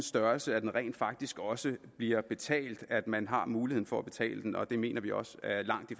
størrelse at den rent faktisk også bliver betalt at man har mulighed for at betale den og det mener vi også at langt de